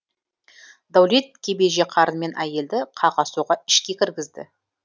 дәулет кебеже қарнымен әйелді қаға соға ішке кіргізді